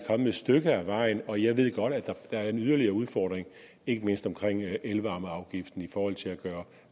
stykke ad vejen og jeg ved godt at der er en yderligere udfordring ikke mindst omkring elvarmeafgiften i forhold til at gøre